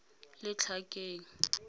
letlhakeng